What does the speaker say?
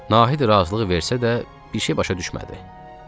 Nahid razılıq versə də bir şey başa düşmədi.